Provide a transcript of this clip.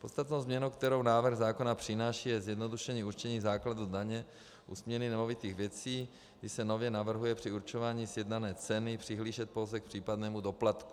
Podstatnou změnou, kterou návrh zákona přináší, je zjednodušení určení základu daně u směny nemovitých věcí, kdy se nově navrhuje při určování sjednané ceny přihlížet pouze k případnému doplatku.